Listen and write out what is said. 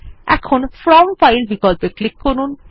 এখন from file বিকল্পে click করুন